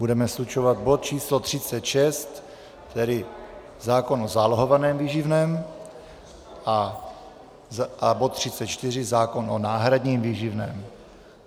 Budeme slučovat bod číslo 36, tedy zákon o zálohovaném výživném, a bod 34, zákon o náhradním výživném.